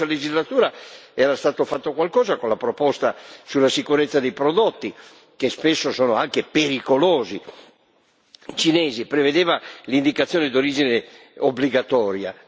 Nella scorsa legislatura era stato fatto qualcosa con la proposta sulla sicurezza dei prodotti cinesi, che spesso sono anche pericolosi, per i quali si prevedeva l'indicazione d'origine obbligatoria.